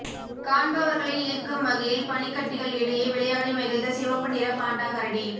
காண்பவர்களை ஈர்க்கும் வகையில் பனிக்கட்டிகள் இடையே விளையாடி மகிழ்ந்த சிவப்பு நிற பாண்டா கரடி